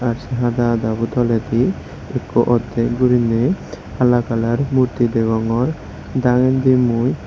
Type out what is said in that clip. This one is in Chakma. gash hada hada bow toleydi ekko utey guri naie hala colour murti degongor degayde mui.